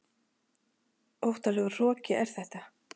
Óttalegur hroki er þetta.